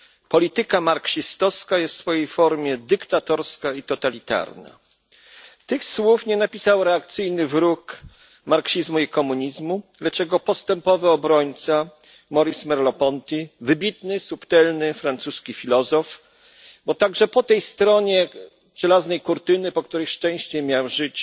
Polityka marksistowska jest w swojej formie dyktatorska i totalitarna. Tych słów nie napisał reakcyjny wróg marksizmu i komunizmu, lecz jego postępowy obrońca Maurice Merleau Ponty, wybitny, subtelny francuski filozof, bo także po tej stronie żelaznej kurtyny, po której szczęście miał żyć